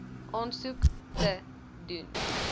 aansoek te doen